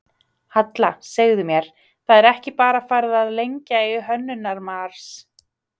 Halla, segðu mér, það er ekki bara farið að lengja í Hönnunarmars?